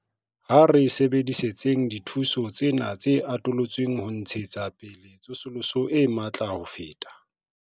Ha re sebedisetseng dithuso tsena tse atolotsweng ho ntshetsa pele tsosoloso e matla ho feta.